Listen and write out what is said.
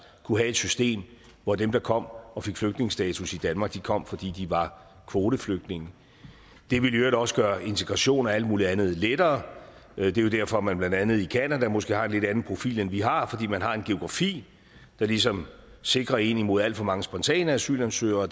kunne have et system hvor dem der kom og fik flygtningestatus i danmark kom fordi de var kvoteflygtninge det ville i øvrigt også gøre integration og alt mulig andet lettere det er derfor at man blandt andet i canada måske har en lidt anden profil end vi har fordi man har en geografi der ligesom sikrer en imod alt for mange spontane asylansøgere og